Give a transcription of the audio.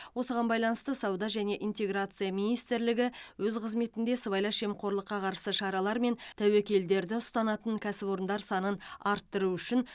осыған байланысты сауда және интеграция министрлігі өз қызметінде сыбайлас жемқорлыққа қарсы шаралар мен тәуекелдерді ұстанатын кәсіпорындар санын арттыру үшін